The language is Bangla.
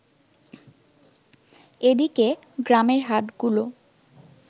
এদিকে, গ্রামের হাটগুলো